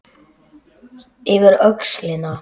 Yfir öxlina.